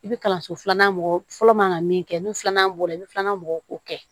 I bɛ kalanso filanan mɔgɔ fɔlɔ man kan ka min kɛ n'o filanan bɔra i bɛ filanan bɔ k'o kɛ